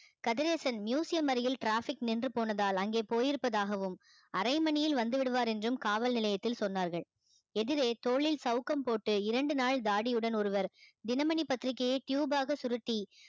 Kathiresan museum அருகில் traffic நின்று போனதால் அங்கே போய் இருப்பதாகவும் அரை மணியில் வந்து விடுவார் என்றும் காவல் நிலையத்தில் சொன்னார்கள் எதிரே தோளில் சவுக்கம் போட்டு இரண்டு நாள் தாடியுடன் ஒருவர் தினமணி பத்திரிகையை tube ஆக சுருட்டி